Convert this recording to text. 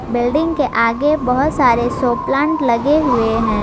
Building के आगे बहोत सारे शो प्लांट लगे हुए हैं।